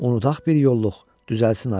Unudaq bir yollluq, düzəlsin ara.